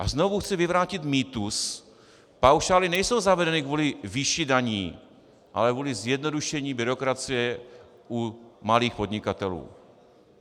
A znovu chci vyvrátit mýtus - paušály nejsou zavedeny kvůli výši daní, ale kvůli zjednodušení byrokracie u malých podnikatelů.